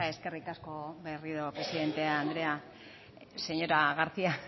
eskerrik asko berriro presidente andrea señora garcía